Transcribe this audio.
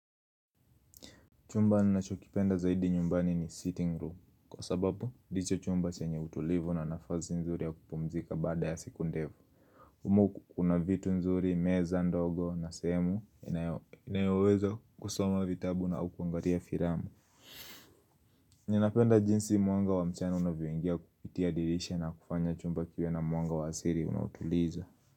Chumba ninachokipenda zaidi nyumbani ni sitting room kwa sababu ndicho chumba chenye utulivu na nafasi nzuri ya kupumzika baada ya siku ndevu. Umu kuna vitu nzuri, meza ndogo na sehemu inayoweza kusoma vitabu na kuangalia filamu. Ninapenda jinsi mwanga wa mchana unavyoingia kupitia dirisha na kufanya chumba kiwe na mwanga wa asiri unautuliza.